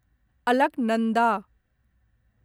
Alaknanda